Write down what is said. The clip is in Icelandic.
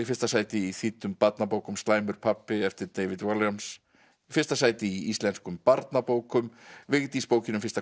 fyrsta sæti í þýddum barnabókum slæmur pabbi eftir David Walliams í fyrsta sæti í íslenskum barnabókum Vigdís bókin um fyrsta